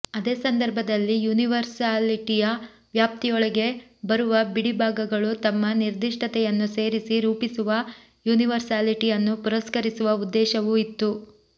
ಅದೇ ಸಂದರ್ಭದಲ್ಲಿ ಯೂನಿವರ್ಸಾಲಿಟಯ ವ್ಯಾಪ್ತಿಯೊಳಗೆ ಬರುವ ಬಿಡಿ ಭಾಗಗಳು ತಮ್ಮ ನಿರ್ದಿಷ್ಟತೆಯನ್ನು ಸೇರಿಸಿ ರೂಪಿಸುವ ಯೂನಿವರ್ಸಾಲಿಟಿಯನ್ನು ಪುರಸ್ಕರಿಸುವ ಉದ್ದೇಶವೂ ಇತ್ತು